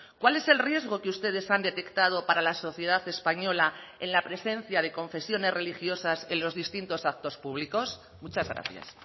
cuál es el riesgo que ustedes han detectado para la sociedad española en la presencia de confesiones religiosas en los distintos actos públicos muchas gracias